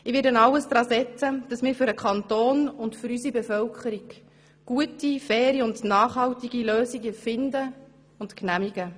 Ich werde alles daran setzen, damit wir für den Kanton und für unsere Bevölkerung gute, faire und nachhaltige Lösungen finden und genehmigen.